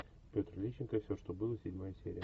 петр лещенко все что было седьмая серия